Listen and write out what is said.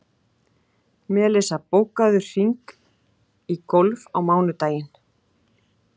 Melissa, bókaðu hring í golf á mánudaginn.